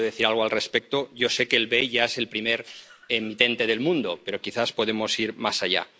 ¿Puede decir algo al respecto? Yo sé que el BEI ya es el primer ente del mundo, pero quizás podemos ir más allá.